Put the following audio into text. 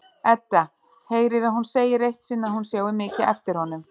Edda heyrir að hún segir eitt sinn að hún sjái mikið eftir honum.